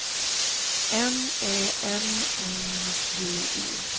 N Ä M N D E